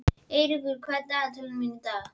Eyríkur, hvað er á dagatalinu í dag?